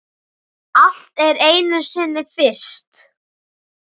Allt er einu sinni fyrst.